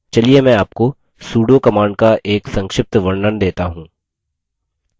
चलिए मैं आपको sudo command का एक संक्षिप्त वर्णन let हूँ